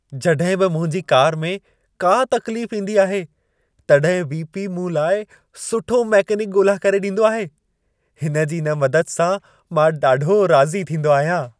जड॒हिं बि मुंहिंजी कार में का तक़लीफ़ ईंदी आहे, तॾहिं वी.पी. मूं लाइ सुठो मेकेनिकु ॻोल्हा करे ॾींदो आहे। हिन जी इन मदद सां मां ॾाढो राज़ी थींदो आहियां।